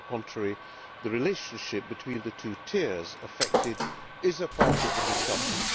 On the contrary the relationship between the two tiers affected is part of the discussion.